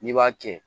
N'i b'a kɛ